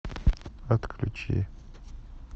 отключи